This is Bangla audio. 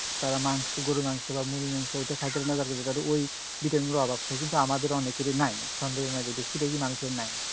তারা মাংস, গরুর মাংস বা মুরগীর মাংস এইটা খাইতে মজা পাইবো, তাদের ঐ vitamin এর অভাব থাকে, কিন্তু আমাদের অনেকেরই নাই, মধ্যে বেশিরভাগই মানুষের নাই